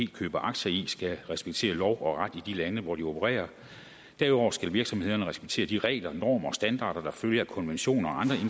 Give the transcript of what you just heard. køber aktier i skal respektere lov og ret i de lande hvor de opererer derudover skal virksomhederne respektere de regler normer og standarder der følger af konventioner og